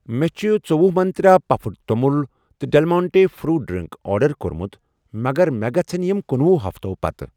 مےٚ چھ ژٔۄہُ منٛترٛا پَفڈ توٚمُل تہ ڈٮ۪لمانٹے فروٗٹ ڈرٛنٛک آرڈر کوٚرمُت مگر مےٚ گژھَن یِم کنُۄہُ ہفتو پتہٕ